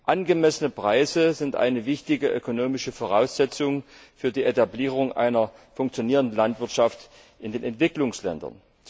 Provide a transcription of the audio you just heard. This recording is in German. Angemessene Preise sind eine wichtige ökonomische Voraussetzung für die Etablierung einer funktionierenden Landwirtschaft in den Entwicklungsländern.